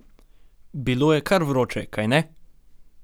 Bilo je kar vroče, kajne?